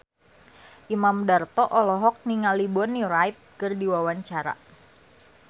Imam Darto olohok ningali Bonnie Wright keur diwawancara